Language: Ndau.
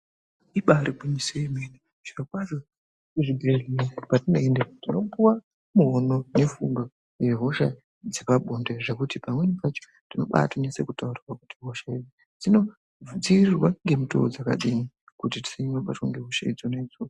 Ibaari gwinyiso yemene zvirokwazvo kuzvibhedhlera kwatinoenda tinopuwa muono yepfungwa yehosha dzepabonde zvekuti pamweni pacho tinobaato nyatsotaurirwa kuti hosha idzi dzinodziirirwa ngemutoo dzakadii kuti tisasanyanya kubatwa ngehosha dzona idzodzo.